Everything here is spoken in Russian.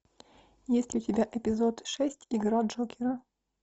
есть ли у тебя эпизод шесть игра джокера